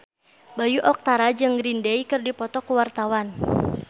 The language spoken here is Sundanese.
Bayu Octara jeung Green Day keur dipoto ku wartawan